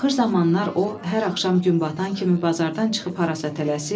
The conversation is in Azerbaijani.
Axır zamanlar o hər axşam gün batan kimi bazardan çıxıb harasa tələsir.